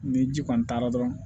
Ni ji kɔni taara dɔrɔn